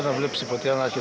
ekkert